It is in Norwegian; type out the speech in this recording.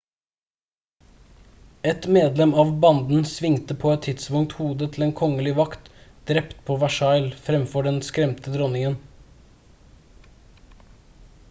et medlem av banden svingte på et tidspunkt hodet til en kongelig vakt drept på versailles fremfor den skremte dronningen